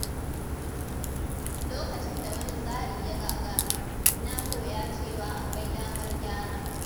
Lokacin da wani tsari ya gagara, na koya cewa akwai damar gyara.